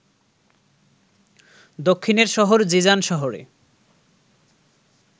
দক্ষিণের শহর জিজান শহরে